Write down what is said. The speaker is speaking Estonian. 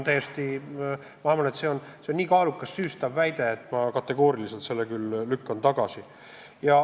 See on nii kaalukas süüstav väide, et ma lükkan selle kategooriliselt tagasi.